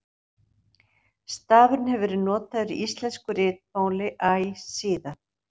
stafurinn hefur verið notaður í íslensku ritmáli æ síðan